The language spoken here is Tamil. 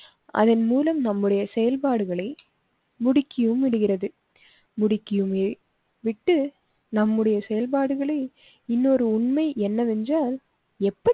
அதன்மூலம் நம்முடைய செயல்பாடுகளை முடக்கியும் விடுகிறது. முடக்கியுமே விட்டு நம்முடைய செயல்பாடுகளே இன்னொரு உண்மை என்னவென்று எப்படி